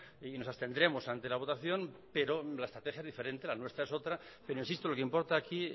y nos abstendremos ante la votación pero la estrategia es diferente la nuestra es otra pero insisto lo que importa aquí